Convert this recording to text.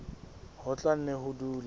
ho tla nne ho dule